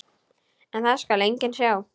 En það skal enginn sjá.